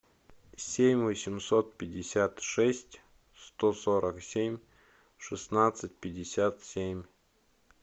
семь восемьсот пятьдесят шесть сто сорок семь шестнадцать пятьдесят семь